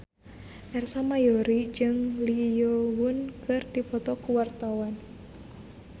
Ersa Mayori jeung Lee Yo Won keur dipoto ku wartawan